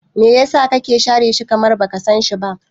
Me yasa kake share shi, kamar baka sanshi ba?